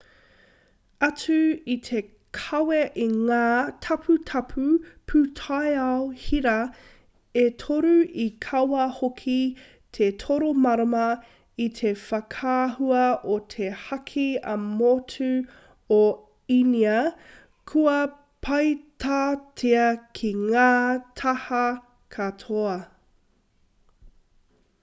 atu i te kawe i ngā taputapu pūtaiao hira e toru i kawe hoki te toro marama i te whakaahua o te haki ā-motu o īnia kua peitatia ki ngā taha katoa